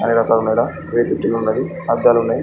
అద్దాలున్నాయి నాలుగు అద్దాల మేడ వెయిట్ లిఫ్ట్లు ఉన్నది.